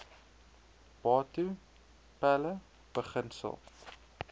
batho pele beginsel